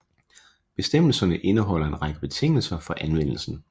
Bestemmelserne indeholder en række betingelser for anvendelsen